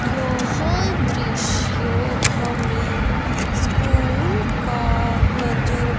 यह दृश्य हमें स्कूल का नजर--